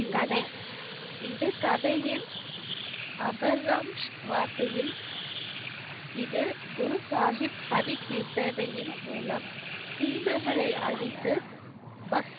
இது கதையின் வார்த்தையில், இது குரு சாஹிப் ஹரி கீர்த்தனையின் மூலம் தீமைகளை அழித்து